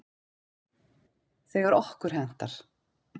Þegar okkur hentar.